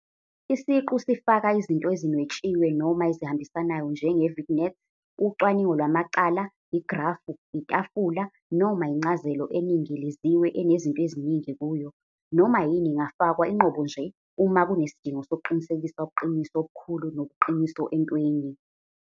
Isiqu sifaka izinto ezinwetshiwe noma ezihambisanayo njenge-vignette, ucwaningo lwamacala, igrafu, itafula, noma incazelo eningiliziwe enezinto eziningi kuyo. Noma yini ingafakwa inqobo nje uma kunesidingo sokuqinisekisa ubuqiniso obukhulu nobuqiniso entweni.